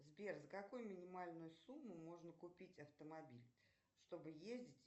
сбер за какую минимальную сумму можно купить автомобиль чтобы ездить